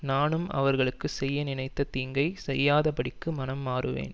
நானும் அவர்களுக்கு செய்ய நினைத்த தீங்கைச் செய்யாதபடிக்கு மனம் மாறுவேன்